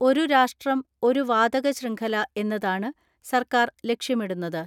ഒരു രാഷ്ട്രം, ഒരു വാതക ശൃംഖല എന്നതാണ് സർക്കാർ ലക്ഷ്യമിടുന്നത്.